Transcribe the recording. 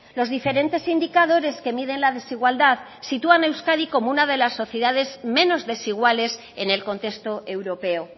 los diferentes indicadores que miden la desigualdad sitúan a euskadi como una de las sociedades menos desiguales en el contexto europeo